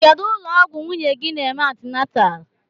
Kedụ ụlọ ọgwụ nwunye gị n'eme antinatal?